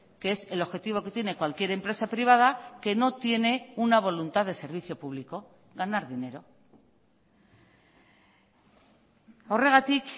que es el objetivo que tiene cualquier empresa privada que no tiene una voluntad de servicio público ganar dinero horregatik